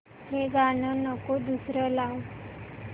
हे गाणं नको दुसरं लाव